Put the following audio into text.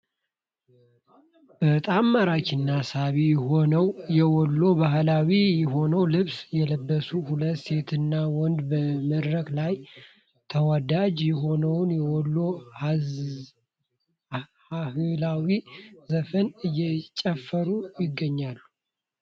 በጣም ማራኪና ሳቢ የሆነውን የወሎ ባህላዊ የሆነውን ልብስ የለበሱ ሁለት ሴትና ወንድ በመድረክ ላይ ተወዳጅ የሆነውን የወሎ ሃህላዊ ዘፈን እየጨፈሩ ይገኛሉ።